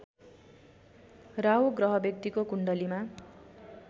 राहु ग्रह व्यक्तिको कुण्डलीमा